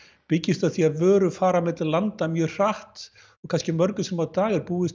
byggjast á því að vörur fara milli landa mjög hratt og kannski mörgum sinnum á dag er búist